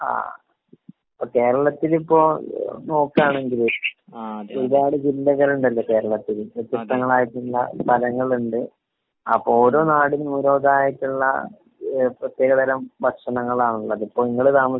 ആഹ്. കേരളത്തിലിപ്പോ നോക്കാണെങ്കില് ഏതാണ്ട് ജില്ലകളുണ്ടല്ലോ കേരളത്തില്? അതെ വ്യത്യസ്തങ്ങളായിട്ടുള്ള സ്ഥലങ്ങളിണ്ട്. അപ്പൊ ഓരോ നാടിനും ഓരോ ഇതായിട്ടുള്ള ഏഹ് പ്രതേകതരം ഭക്ഷണങ്ങളാ ഉള്ളത്.ഇപ്പൊ ഇങ്ങള് താമസിക്കുന്ന